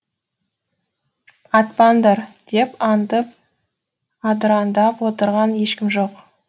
атпаңдар деп аңдып адыраңдап отырған ешкім жоқ